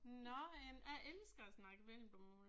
Nåh jamen jeg elsker at snakke vendelbomål